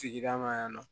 Sigida ma yannɔ